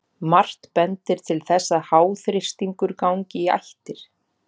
Margt bendir til þess að háþrýstingur gangi í ættir.